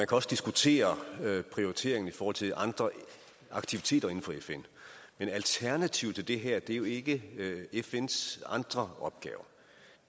kan også diskutere prioriteringen i forhold til andre aktiviteter inden for fn men alternativet til det her er jo ikke fns andre opgaver